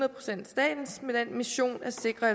sikre